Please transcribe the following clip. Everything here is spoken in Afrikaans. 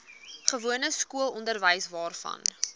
gewone skoolonderwys waarvan